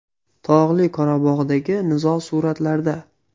Tog‘li Qorabog‘dagi nizo suratlarda.